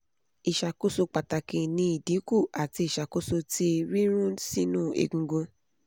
iṣakoso pataki ni idinku ati iṣakoso ti rirun sinu egungun